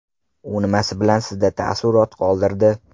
U nimasi bilan sizda taassurot qoldirdi?